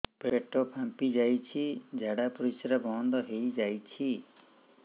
ପେଟ ଫାମ୍ପି ଯାଇଛି ଝାଡ଼ା ପରିସ୍ରା ବନ୍ଦ ହେଇଯାଇଛି